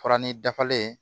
Fara ni dafalen